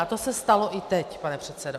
A to se stalo i teď, pane předsedo.